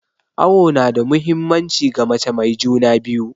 Awo nada muhimmanci ga mace mai juna biyu